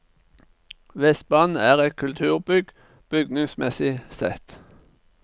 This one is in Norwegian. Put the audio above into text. Vestbanen er et kulturbygg bygningsmessig sett.